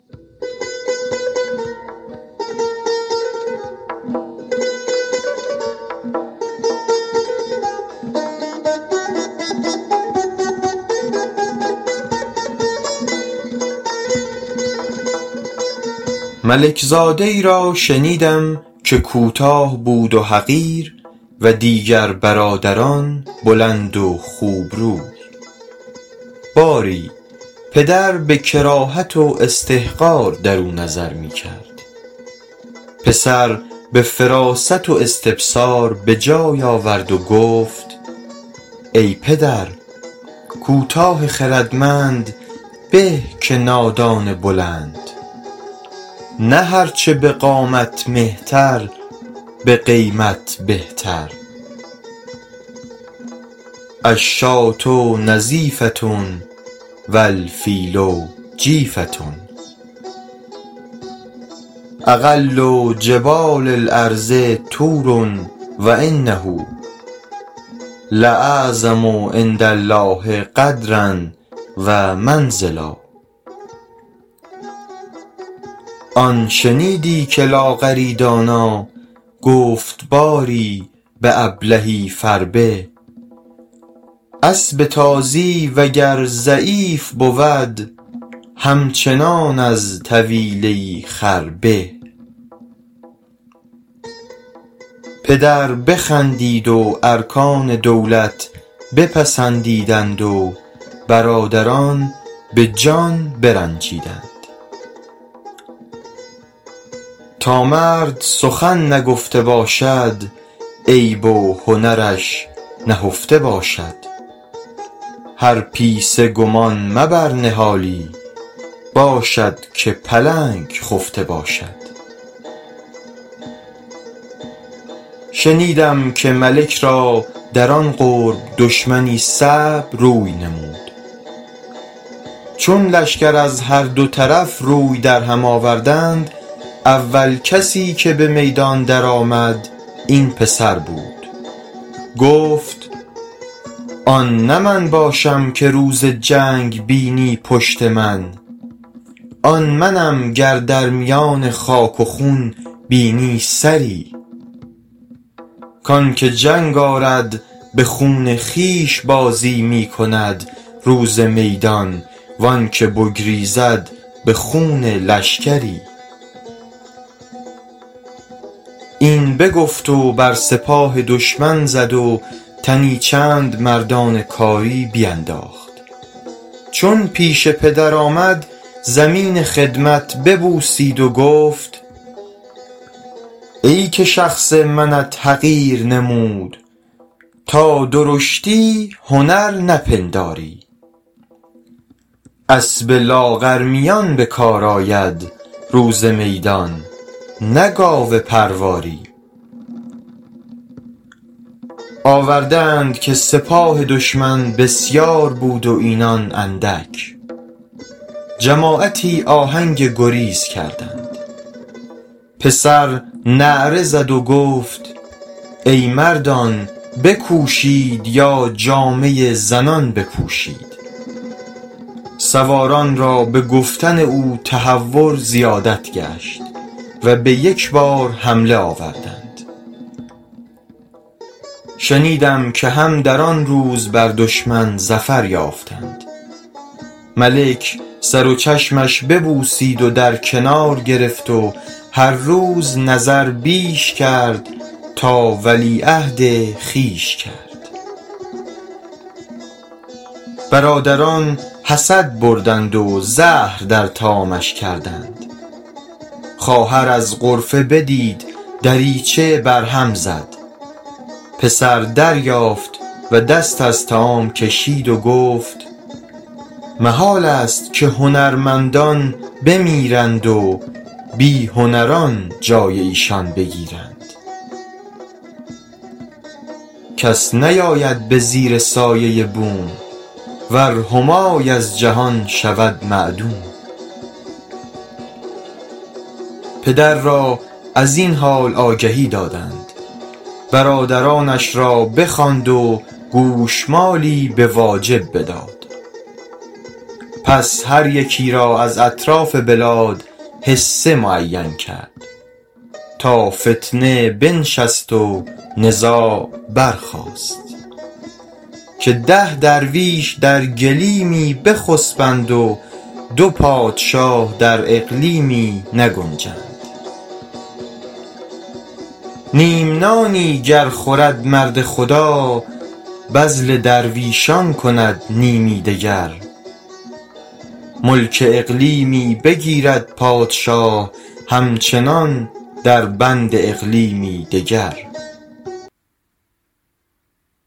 ملک زاده ای را شنیدم که کوتاه بود و حقیر و دیگر برادران بلند و خوب روی باری پدر به کراهت و استحقار درو نظر می کرد پسر به فراست و استبصار به جای آورد و گفت ای پدر کوتاه خردمند به که نادان بلند نه هر چه به قامت مهتر به قیمت بهتر الشاة نظیفة و الفیل جیفة اقل جبال الارض طور و انه لاعظم عندالله قدرا و منزلا آن شنیدی که لاغری دانا گفت باری به ابلهی فربه اسب تازی وگر ضعیف بود همچنان از طویله ای خر به پدر بخندید و ارکان دولت پسندیدند و برادران به جان برنجیدند تا مرد سخن نگفته باشد عیب و هنرش نهفته باشد هر پیسه گمان مبر نهالی باشد که پلنگ خفته باشد شنیدم که ملک را در آن قرب دشمنی صعب روی نمود چون لشکر از هر دو طرف روی در هم آوردند اول کسی که به میدان در آمد این پسر بود گفت آن نه من باشم که روز جنگ بینی پشت من آن منم گر در میان خاک و خون بینی سری کانکه جنگ آرد به خون خویش بازی می کند روز میدان و آن که بگریزد به خون لشکری این بگفت و بر سپاه دشمن زد و تنی چند مردان کاری بینداخت چون پیش پدر آمد زمین خدمت ببوسید و گفت ای که شخص منت حقیر نمود تا درشتی هنر نپنداری اسب لاغرمیان به کار آید روز میدان نه گاو پرواری آورده اند که سپاه دشمن بسیار بود و اینان اندک جماعتی آهنگ گریز کردند پسر نعره زد و گفت ای مردان بکوشید یا جامه زنان بپوشید سواران را به گفتن او تهور زیادت گشت و به یک بار حمله آوردند شنیدم که هم در آن روز بر دشمن ظفر یافتند ملک سر و چشمش ببوسید و در کنار گرفت و هر روز نظر بیش کرد تا ولیعهد خویش کرد برادران حسد بردند و زهر در طعامش کردند خواهر از غرفه بدید دریچه بر هم زد پسر دریافت و دست از طعام کشید و گفت محالست که هنرمندان بمیرند و بی هنران جای ایشان بگیرند کس نیاید به زیر سایه بوم ور همای از جهان شود معدوم پدر را از این حال آگهی دادند برادرانش را بخواند و گوشمالی به واجب بداد پس هر یکی را از اطراف بلاد حصه معین کرد تا فتنه بنشست و نزاع برخاست که ده درویش در گلیمی بخسبند و دو پادشاه در اقلیمی نگنجند نیم نانی گر خورد مرد خدا بذل درویشان کند نیمی دگر ملک اقلیمی بگیرد پادشاه همچنان در بند اقلیمی دگر